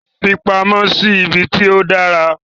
Fi pamọ́ sí ibi tí ó dára.